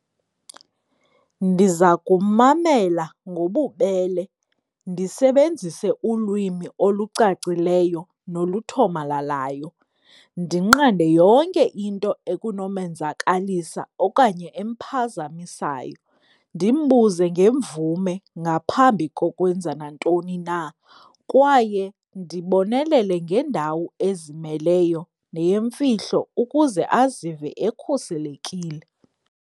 Ndiza kummamela ngobubele ndisebenzise ulwimi olucacileyo noluthomalalayo, ndinqande yonke into ekunomenzakalisa okanye emphazamisayo. Ndimbuze ngemvume ngaphambi kokwenza nantoni na kwaye ndibonelele ngendawo ezimeleyo neyimfihlo ukuze azive ekhuselekile.